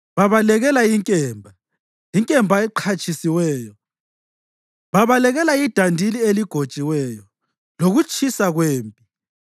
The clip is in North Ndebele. Babalekela inkemba, inkemba eqhatshisiweyo, babalekela idandili eligotshiweyo, lokutshisa kwempi.